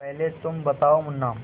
पहले तुम बताओ मुन्ना